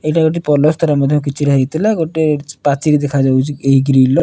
ଏଇଟା ଗୋଟେ ମଧ୍ଯ କିଛି ହୋଇଥିଲା ଗୋଟିଏ ପାଚେରୀ ଦେଖାଯାଉଚି ଏହି ଗ୍ରିଲ୍ ର।